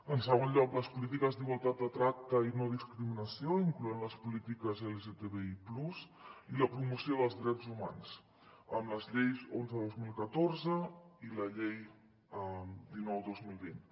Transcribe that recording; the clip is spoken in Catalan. en segon lloc les polítiques d’igualtat de tracte i no discriminació incloent hi les polítiques lgtbi+ i la promoció dels drets humans amb la llei onze dos mil catorze i la llei dinou dos mil vint